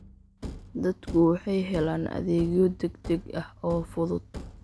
Dadku waxay helaan adeegyo degdeg ah oo fudud.